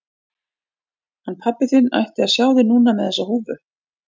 Hann pabbi þinn ætti að sjá þig núna með þessa húfu.